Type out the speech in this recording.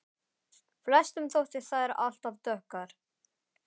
Flestum þótti þær alt of dökkar.